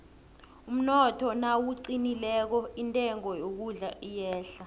umnotho nawuqinileko intengo yokudla iyehla